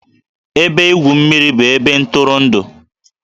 Ebe igwu mmiri bụ ebe ntụrụndụ